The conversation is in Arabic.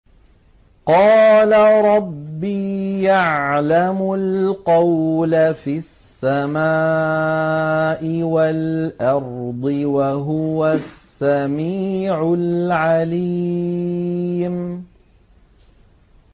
قَالَ رَبِّي يَعْلَمُ الْقَوْلَ فِي السَّمَاءِ وَالْأَرْضِ ۖ وَهُوَ السَّمِيعُ الْعَلِيمُ